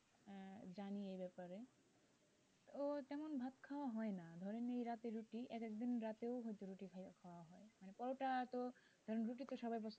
ও তেমন ভাত খাওয়া হয় না মেয়েরা তো রুটি এক একদিন রাতে ও রুটি খাই পরোটা তো, কারণ রুটি তো সবাই পছন্দ করে না,